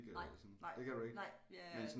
Nej nej nej jeg er